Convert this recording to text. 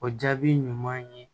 O jaabi ɲuman ye